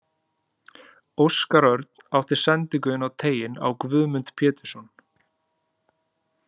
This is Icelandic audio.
Óskar Örn átti sendingu inn á teiginn á Guðmund Pétursson.